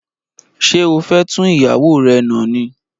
Ṣé o fé tún ìyàwó rè nà ni?